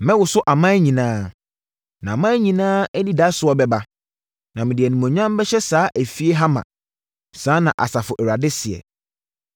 Mɛwoso aman nyinaa, na aman nyinaa anidasoɔ bɛba, na mede animuonyam bɛhyɛ saa fie ha ma.’ Saa na Asafo Awurade seɛ.